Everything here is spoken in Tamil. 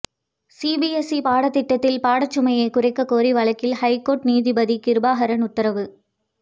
சிபிஎஸ்இ பாடத்திட்டத்தில் பாடச்சுமையை குறைக்க கோரிய வழக்கில் ஹைகோர்ட் நீதிபதி கிருபாகரன் உத்தரவு